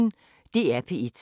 DR P1